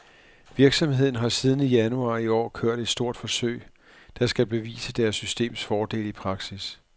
Virksomheden har siden januar i år kørt et stort forsøg, der skal bevise deres systems fordele i praksis.